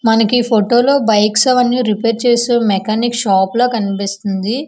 మనకి ఈ ఫోటో లో బైక్స్ అవన్నీ రిపేర్ చేసే మెకానిక్ షాప్ లా కనిపిస్తుంది.